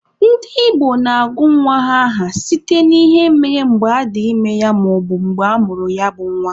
Ndị Igbo na-agụ nwa ha aha site n'ihe mere mgbe adị ime ya maọbu mgbe amụrụ ya bụ nwa.